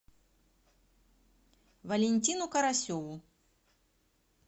валентину карасеву